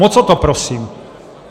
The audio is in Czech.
Moc o to prosím.